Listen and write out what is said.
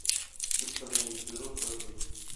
установи взрослая жизнь